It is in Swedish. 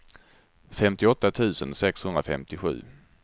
femtioåtta tusen sexhundrafemtiosju